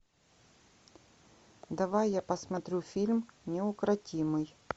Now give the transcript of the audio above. давай я посмотрю фильм неукротимый